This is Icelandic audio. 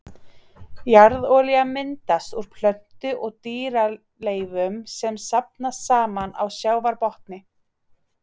Jarðolía myndast úr plöntu- og dýraleifum sem safnast saman á sjávarbotni.